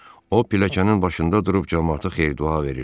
O pilləkənin başında durub camaatı xeyir-dua verirdi.